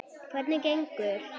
Hvernig kemur